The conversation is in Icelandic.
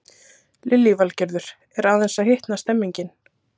Lillý Valgerður: Er aðeins að hitna stemningin?